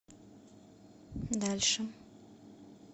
дальше